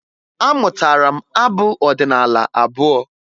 Amụtara m abụ ọdịnaala abụọ